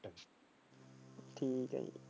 ਠੀਕ ਹੈ।